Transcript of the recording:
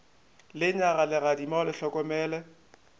lenyaga legadima o le hlokomele